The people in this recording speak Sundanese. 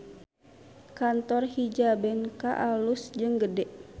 Kantor Hijabenka alus jeung gede